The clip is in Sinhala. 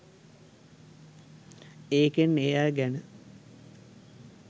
ඒකෙන් ඒ අය ගැන